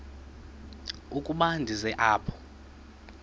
ukuba ndize apha